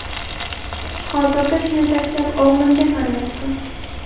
Hozirda ishini tashlab, o‘g‘limga qarayapti.